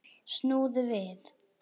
Snúðu við!